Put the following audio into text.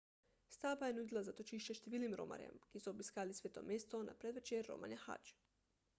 stavba je nudila zatočišče številnim romarjem ki so obiskali sveto mesto na predvečer romanja hadž